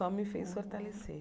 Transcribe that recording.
Só me fez fortalecer.